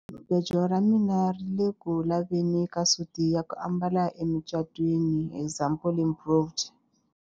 Jahamubejo ra mina ri ku le ku laveni ka suti ya ku ambala emucatwini example improved.